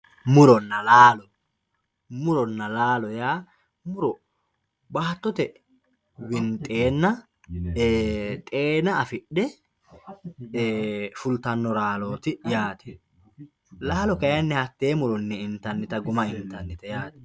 Muronna laallo, muronna laallo yaa muro baattotte winxeenna xeenna afidhe fulitanno laalloti yaate, laallo kayinni hatee muronni intanitta guma intanitte yaate